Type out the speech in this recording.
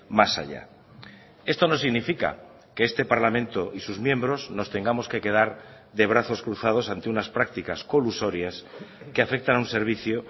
más allá esto no significa que este parlamento y sus miembros nos tengamos que quedar de brazos cruzados ante unas prácticas colusorias que afectan a un servicio